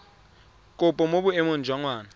kopo mo boemong jwa ngwana